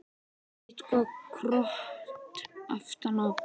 Eitthvert krot aftan á.